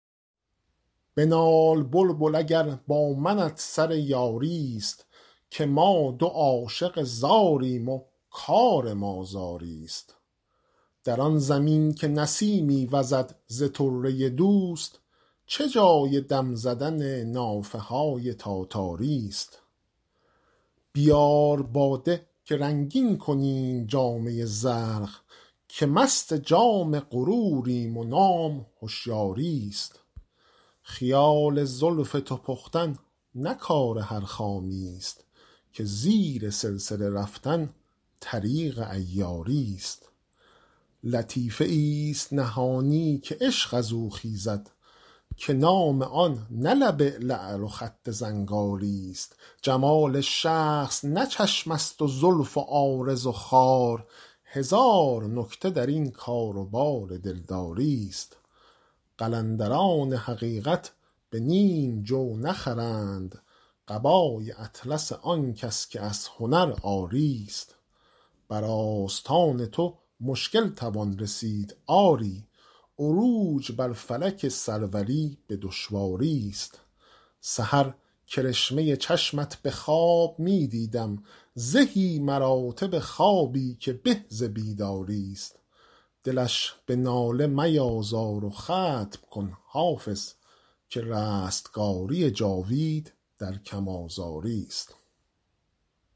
بنال بلبل اگر با منت سر یاری ست که ما دو عاشق زاریم و کار ما زاری ست در آن زمین که نسیمی وزد ز طره دوست چه جای دم زدن نافه های تاتاری ست بیار باده که رنگین کنیم جامه زرق که مست جام غروریم و نام هشیاری ست خیال زلف تو پختن نه کار هر خامی ست که زیر سلسله رفتن طریق عیاری ست لطیفه ای ست نهانی که عشق از او خیزد که نام آن نه لب لعل و خط زنگاری ست جمال شخص نه چشم است و زلف و عارض و خال هزار نکته در این کار و بار دلداری ست قلندران حقیقت به نیم جو نخرند قبای اطلس آن کس که از هنر عاری ست بر آستان تو مشکل توان رسید آری عروج بر فلک سروری به دشواری ست سحر کرشمه چشمت به خواب می دیدم زهی مراتب خوابی که به ز بیداری ست دلش به ناله میازار و ختم کن حافظ که رستگاری جاوید در کم آزاری ست